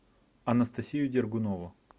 анастасию дергунову